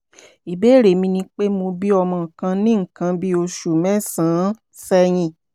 ìbéèrè mi ni pé mo bí ọmọ kan ní nǹkan bí oṣù mẹ́sàn-án sẹ́yìn